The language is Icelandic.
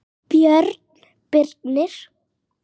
Björn Birnir.